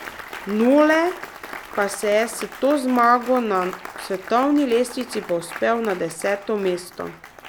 Nole pa se je s to zmago na svetovni lestvici povzpel na deseto mesto.